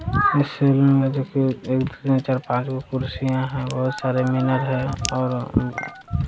इस में देखिए एक चार-पांच गो कुर्सियां है बहुत सारे मिनर है और उ --